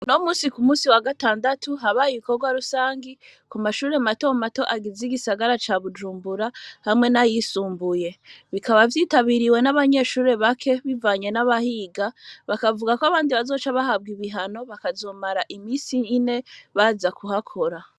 Uno munsi ku munsi wa gatandatu, habaye ibikorwa rusangi ku mashuri mato mato agize igisagara ca Bujumbura hamwe n'ayisumbuye. Bikaba vyitabiriwe n'abanyeshuri bake bivanye n'abahiga, bakavuga ko abandi bazoca bahabwa ibihano bakazomara iminsi ine baza kuhakora.